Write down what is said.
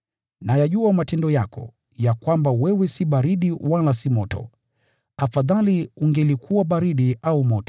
Nayajua matendo yako, ya kwamba wewe si baridi wala si moto. Afadhali ungelikuwa moja au lingine.